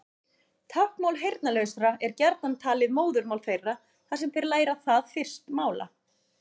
Táknmál heyrnarlausra er gjarnan talið móðurmál þeirra þar sem þeir læra það fyrst mála.